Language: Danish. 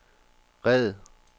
red